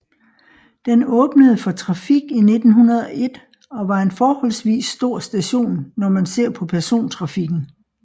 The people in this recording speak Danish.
Den åbnede for trafik i 1901 og var en forholdsvis stor station når man ser på persontrafikken